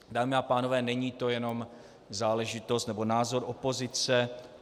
Dámy a pánové, není to jenom záležitost nebo názor opozice.